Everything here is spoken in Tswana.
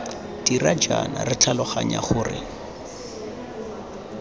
dira jaana re tlhaloganya gore